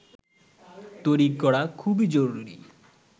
তৈরি করা খুবই জরুরি